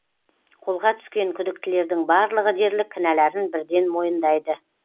қолға түскен күдіктілердің барлығы дерлік кінәларын бірден мойындайды